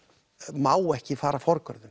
má ekki fara forgörðum